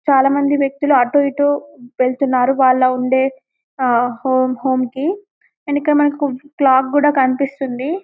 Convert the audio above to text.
చాలామంది వ్యక్తులు అటు ఇటు వెళ్తున్నారు వాళ్లు ఉండే హోం కి అండ్ ఇక్కడ మనకు క్లాక్ కూడా కనిపిస్తుంది --